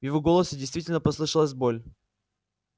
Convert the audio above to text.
в его голосе действительно послышалась боль